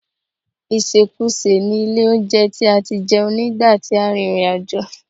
Ìsèkusè ni ilé-olóunjẹ tí a ti jẹun nígbà tí a rìnrìn àjò